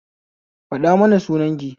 Faɗa mana sunan ki